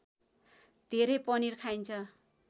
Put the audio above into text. धेरै पनिर खाइन्छ